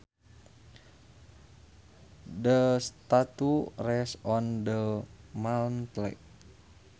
The statue rests on the mantle